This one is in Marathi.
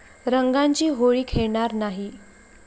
रंगाची होळी खेळणार नाही'